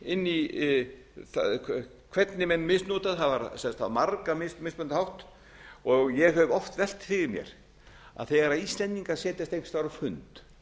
inn í hvernig menn misnota það var á margan mismunandi hátt ég hef oft velt fyrir mér að þegar íslendingar setjast einhvers staðar á fund